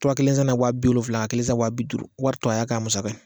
Tura kelen san na wa bi wolonwula, ka kelen san wa bi duuru, wari tɔ, a y'a ka musaka ye